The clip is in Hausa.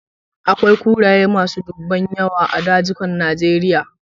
Akwai kuraye masu dunbun yawa a dazukan Najeria.